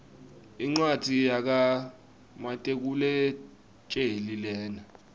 incwadzi yaka matekuletjelii lena